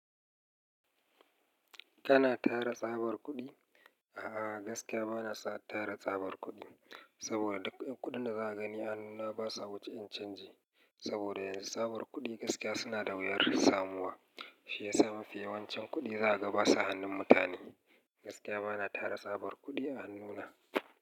Kana tara tsabar kuɗi? A'a, gaskiya bana sa tara tsabar kuɗi, saboda duk kuɗin da zaka gani a hannu na basa wuce ƴan canji. Saboda yanzu tsabar kuɗi gaskiya suna da wuyar samuwa. Shiyasa mafi yawancin kuɗi zaka ga ba sa hannun mutane. Gaskiya bana tara tsabar kuɗi a hannuna.